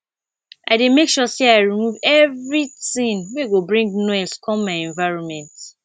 i dey make sure sey i remove everytin wey go bring noise come my environment